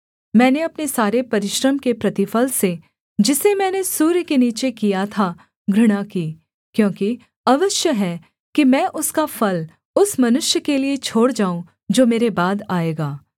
मैंने अपने सारे परिश्रम के प्रतिफल से जिसे मैंने सूर्य के नीचे किया था घृणा की क्योंकि अवश्य है कि मैं उसका फल उस मनुष्य के लिये छोड़ जाऊँ जो मेरे बाद आएगा